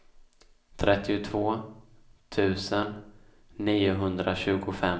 trettiotvå tusen niohundratjugofem